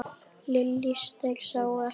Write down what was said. Lillý: Þeir sáu ekki neitt?